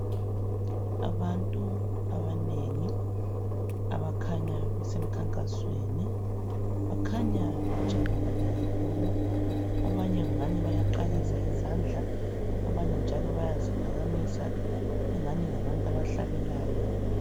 Abantu abanengi abakhanya besemkhankasweni bakhanya bejabulile kakhulu abanye kungani bayaqakeza izandla abanye njalo bayaziphakamisa engani ngabantu abahlabelayo.